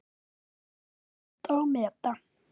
Kunni að njóta og meta.